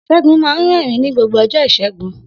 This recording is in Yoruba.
Segun máa ń rẹ́rìn-ín ní gbogbo ọjọ́ Ìṣẹ́gun.